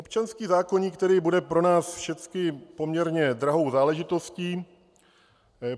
Občanský zákoník tedy bude pro nás všechny poměrně drahou záležitostí.